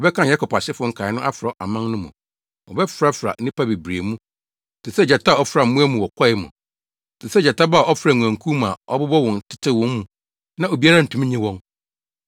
Wɔbɛkan Yakob asefo nkae no afra aman no mu, wɔbɛfrafra nnipa bebree mu te sɛ gyata a ɔfra mmoa mu wɔ kwae mu, te sɛ gyata ba a ɔfra nguankuw mu a ɔbobɔ wɔn tetew wɔn mu na obiara ntumi nnye wɔn.